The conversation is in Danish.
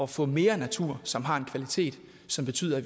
få mere natur som har en kvalitet som betyder at